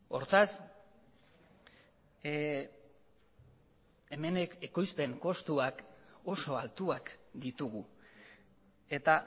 hortaz hemen ekoizpen kostuak oso altuak ditugu eta